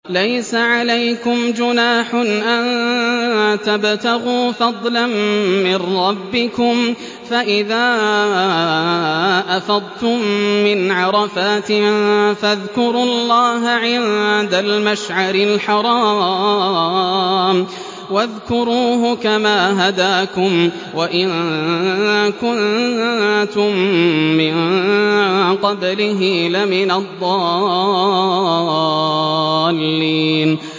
لَيْسَ عَلَيْكُمْ جُنَاحٌ أَن تَبْتَغُوا فَضْلًا مِّن رَّبِّكُمْ ۚ فَإِذَا أَفَضْتُم مِّنْ عَرَفَاتٍ فَاذْكُرُوا اللَّهَ عِندَ الْمَشْعَرِ الْحَرَامِ ۖ وَاذْكُرُوهُ كَمَا هَدَاكُمْ وَإِن كُنتُم مِّن قَبْلِهِ لَمِنَ الضَّالِّينَ